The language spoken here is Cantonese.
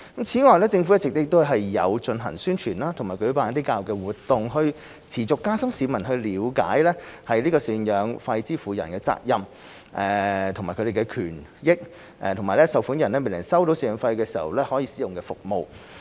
此外，政府一直有進行宣傳和舉辦教育活動，以持續加深市民了解贍養費支付人的責任、贍養費受款人的權益和受款人未能收取贍養費時可使用的服務。